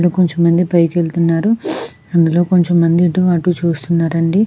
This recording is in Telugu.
ఇక్కడ కొంచెం మంది పైకి వెళ్తున్నారు. అందులో కొంచెం మంది ఇటు అటు చూస్తున్నారండి.